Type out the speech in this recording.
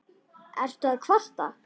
Ertu að kvarta?